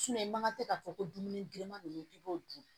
i man kan tɛ k'a fɔ ko dumuni bilenman ninnu i b'o dun